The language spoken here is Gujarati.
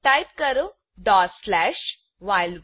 ટાઈપ કરો ડોટ સ્લેશ વ્હાઇલ1